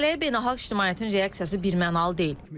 Məsələyə beynəlxalq ictimaiyyətin reaksiyası birmənalı deyil.